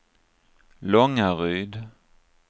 Långaryd